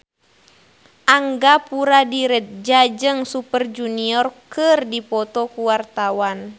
Angga Puradiredja jeung Super Junior keur dipoto ku wartawan